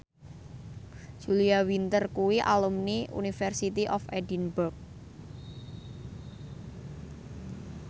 Julia Winter kuwi alumni University of Edinburgh